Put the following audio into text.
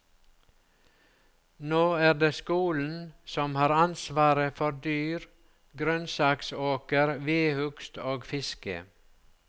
Nå er det skolen som har ansvaret for dyr, grønnsaksåker, vedhugst og fiske.